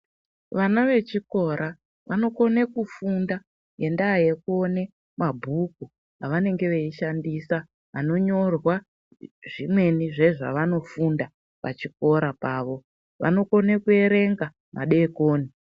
Vana vechikora, vanokone kufunda ngendaa yekuone mabhuku avanenge veyishandisa ,anonyorwa zvimweni zviya zvavanofunda pachikora pavo ,vanokone kuerenga madokoni.